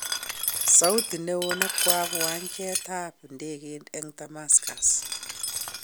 Sauti neo nekwap wanjet ap ndegeit en Damascus